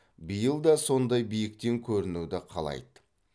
биыл да сондай биіктен көрінуді қалайды